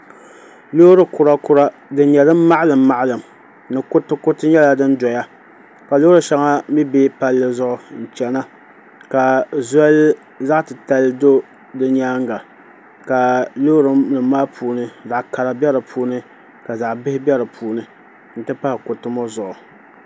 Loori kura kura din nyɛ din maɣalim maɣalim ni kuruti kuriti nyɛla din doya ka loori shɛŋa mii bɛ palli zuɣu n chɛna ka zoli zaɣ titali do di nyaanga ka loori nim maa puuni zaɣ kara bɛ di puuni ka zaɣ bihi bɛ di puuni n ti pahi kuriti ŋɔ zuɣu